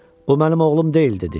O mənim oğlum deyil dedi.